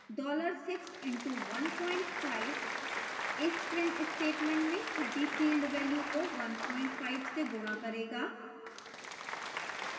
$6 into 15 इस print statement में छठी field value को 15% से गुणा करेगा